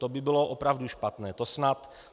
To by bylo opravdu špatné.